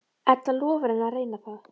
Edda lofar henni að reyna það.